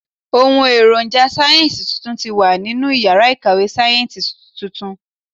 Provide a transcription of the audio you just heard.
Ohùn èròjà sáyẹ́ǹsì tuntun ti wà nínú iyàrá ìkàwé sáyẹ́ǹsì tuntun